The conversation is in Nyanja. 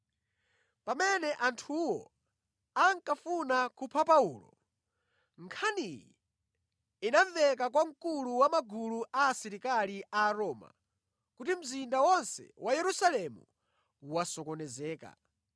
Pamene anthuwo ankafuna kupha Paulo, nkhaniyi inamveka kwa mkulu wa magulu a asilikali a Aroma kuti mzinda wonse wa Yerusalemu wasokonezeka.